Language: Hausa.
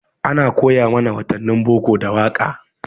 Ana koya mana watannin boko da waƙa.